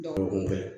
Dɔgɔkun kɛ